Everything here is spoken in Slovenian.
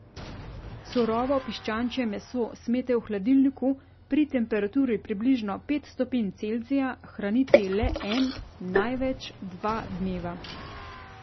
Surovo piščančje meso smete v hladilniku, pri temperaturi približno pet stopinj Celzija, hraniti le en, največ dva dneva.